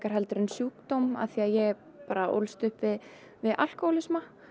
en sjúkdóm af því að ég ólst upp við alkóhólisma